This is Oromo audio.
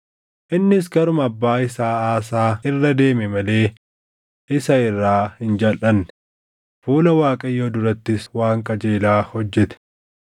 Innis karuma abbaa isaa Aasaa irra deeme malee isa irraa hin jalʼanne; fuula Waaqayyoo durattis waan qajeelaa hojjete.